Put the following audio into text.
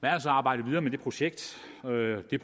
er altså arbejdet videre med det projekt og det